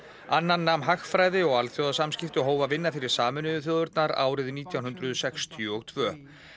annan nam hagfræði og alþjóðasamskipti og hóf að vinna fyrir Sameinuðu þjóðirnar árið nítján hundruð sextíu og tvö